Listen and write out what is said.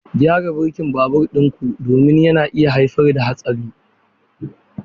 Gyara birkin babur ɗin ku domin yana iya haifar da haɗari.